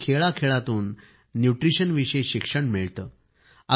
अगदी खेळाखेळातून न्यूट्रिशनविषयी शिक्षण मिळते